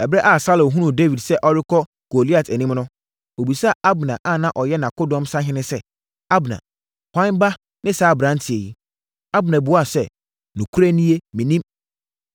Ɛberɛ a Saulo hunuu Dawid sɛ ɔrekɔ Goliat anim no, ɔbisaa Abner a na ɔyɛ nʼakodɔm sahene sɛ, “Abner, hwan ba ne saa aberanteɛ yi?” Abner buaa sɛ, “Nokorɛ nie, mennim.”